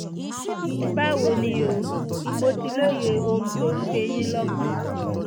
báwo ni o? mo ti lóye ohun tó ń gbé yín lọ́kàn